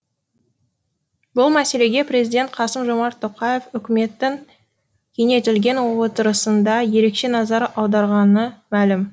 бұл мәселеге президент қасым жомарт тоқаев үкіметтің кеңейтілген отырысында ерекше назар аударғаны мәлім